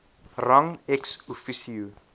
rang ex officio